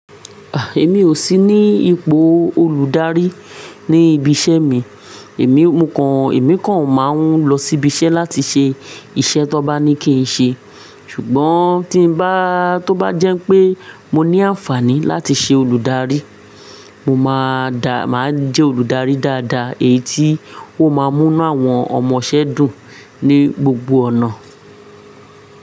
Ah! Èmi ò sí ní ipò olùdarí ní ibi iṣẹ́ mi. Èmi kàn, èmi kàn máa ń lọ síbi iṣẹ́ láti ṣe iṣẹ́ tó bá ní kí n ṣe. Ṣùgbọ́n tí ń bá, tó bá jẹ́ pé mo ní àǹfààní láti ṣe olùdarí, mo máa dá, máa jẹ́ olùdarí dáadáa, èyí tí ó máa mú inú àwọn ọmọṣẹ́ dùn ní gbogbo ọ̀nà.